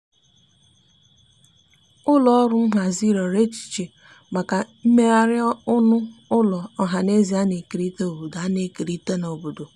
ụlọ ọrụ nhazi riọrọ echiche maka imeghari ọnụ ụlọ ohanaeze ana ekerita n'obodo ana ekerita n'obodo